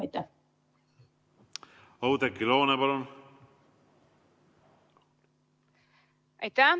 Aitäh!